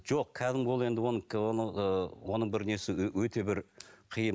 жоқ кәдімгі ол енді оның бір несі өте бір қиын